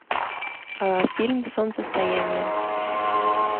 а фильм солнцестояние